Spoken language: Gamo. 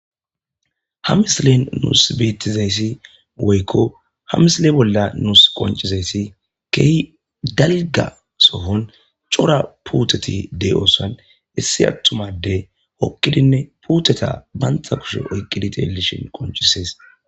ha misilen nuus bettizayssi woykko ha misile bolla nuus qoncizayssi kehi daliga sohon cora puuteti dey oosan issi attumade hokkidinne puuteta bantha kushe oykqidi teelishin qoncisees